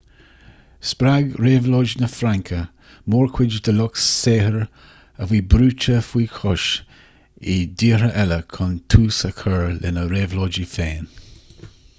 spreag réabhlóid na fraince mórchuid den lucht saothair a bhí brúite faoi chois i dtíortha eile chun tús a chur lena réabhlóidí féin